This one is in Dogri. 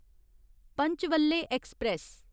पंचवल्ले ऐक्सप्रैस